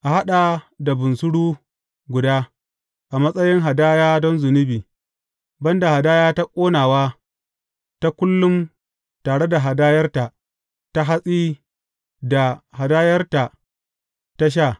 A haɗa da bunsuru guda a matsayin hadaya don zunubi, ban da hadaya ta ƙonawa ta kullum tare da hadayarta ta hatsi da hadayarta ta sha.